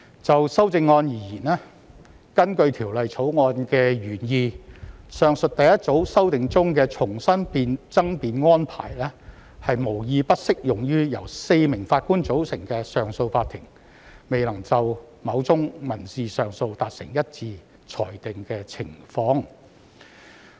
就修正案而言，它符合《條例草案》的原意，確保上述第一組修訂中所指的重新爭辯安排適用於由4名上訴法庭法官組成的上訴法庭，未能就某宗民事上訴案件達成一致裁定的情況。